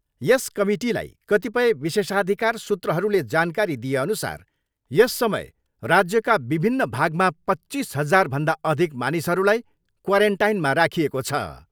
यस कमिटीलाई कतिपय विशोषाधिकार सूत्रहरूले जानकारी दिएअनुसार यस समय राज्यका विभिन्न भागमा पच्चिस हजारभन्दा अधिक मानिसहरूलाई क्वारेन्टाइनमा राखिएको छ।